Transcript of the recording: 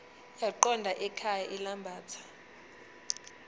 yaqonda ekhaya ilambatha